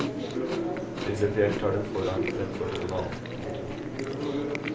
Prinsipielt har den forrang fremfor noen annen. punktum